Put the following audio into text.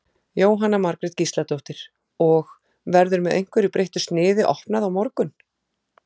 Jóhanna Margrét Gísladóttir: Og, verður með einhverju breyttu sniði opnað á morgun?